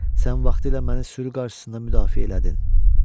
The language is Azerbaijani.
Sən vaxtilə məni sürü qarşısında müdafiə elədin.